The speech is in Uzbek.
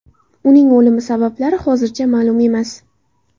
Uning o‘limi sabablari hozircha ma’lum emas.